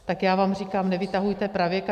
- Tak já vám říkám, nevytahujte pravěk.